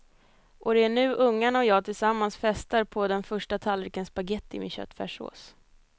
Och det är nu ungarna och jag tillsammans festar på den första tallriken spagetti med köttfärssås.